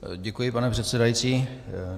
Děkuji, pane předsedající.